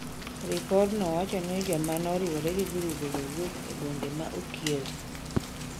Ripodno wacho ni ng'eny jomano riwre gi grube go wuok gwenge mar kiewo.